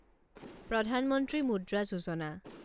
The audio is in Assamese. প্ৰধান মন্ত্ৰী মুদ্ৰা যোজনা